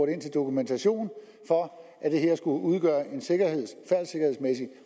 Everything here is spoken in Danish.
ind til dokumentation for at det her skulle udgøre